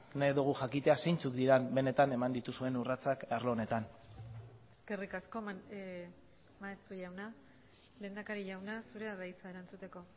nahi dugu jakitea zeintzuk diren benetan eman dituzuen urratsak arlo honetan eskerrik asko maeztu jauna lehendakari jauna zurea da hitza erantzuteko